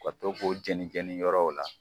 Ka to k'o jenijɛnii yɔrɔw la.